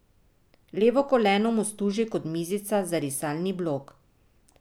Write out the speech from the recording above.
Levo koleno mu služi kot mizica za risalni blok.